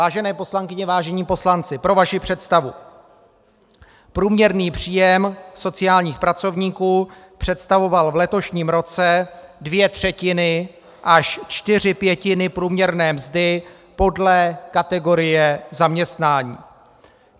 Vážené poslankyně, vážení poslanci, pro vaši představu, průměrný příjem sociálních pracovníků představoval v letošním roce dvě třetiny až čtyři pětiny průměrné mzdy podle kategorie zaměstnání.